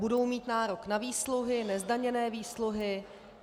Budou mít nárok na výsluhy, nezdaněné výsluhy.